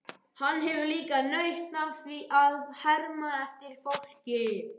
Hann hefur líka nautn af að herma eftir fólki.